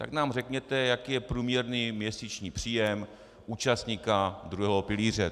Tak nám řekněte, jaký je průměrný měsíční příjem účastníka druhého pilíře.